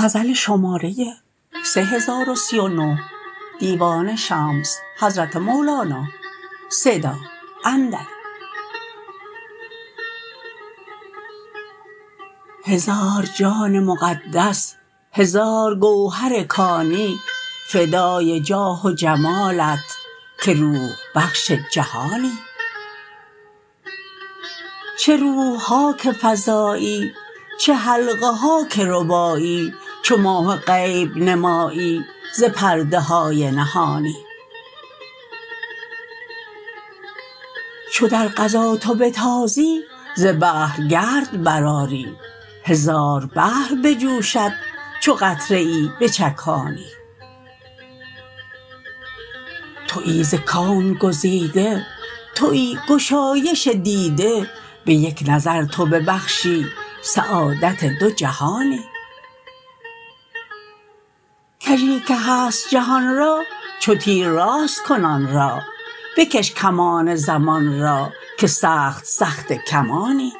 هزار جان مقدس هزار گوهر کانی فدای جاه و جمالت که روح بخش جهانی چه روح ها که فزایی چه حلقه ها که ربایی چو ماه غیب نمایی ز پرده های نهانی چو در غزا تو بتازی ز بحر گرد برآری هزار بحر بجوشد چو قطره ای بچکانی توی ز کون گزیده توی گشایش دیده به یک نظر تو ببخشی سعادت دوجهانی کژی که هست جهان را چو تیر راست کن آن را بکش کمان زمان را که سخت سخته کمانی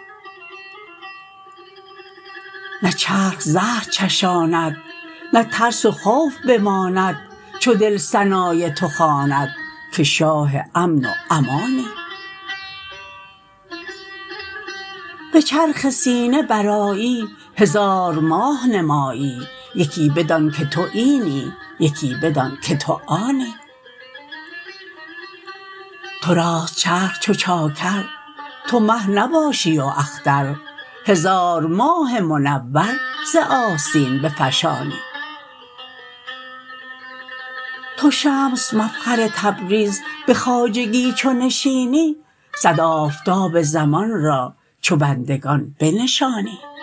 نه چرخ زهر چشاند نه ترس و خوف بماند چو دل ثنای تو خواند که شاه امن و امانی به چرخ سینه برآیی هزار ماه نمایی یکی بدان که تو اینی یکی بدان که تو آنی تو راست چرخ چو چاکر تو مه نباشی و اختر هزار ماه منور ز آستین بفشانی تو شمس مفخر تبریز به خواجگی چو نشینی صد آفتاب زمان را چو بندگان بنشانی